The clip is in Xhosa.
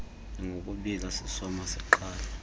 njengokubiila sisoma siqala